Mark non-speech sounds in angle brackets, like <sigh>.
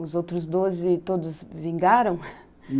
Os outros doze, todos vingaram? <laughs>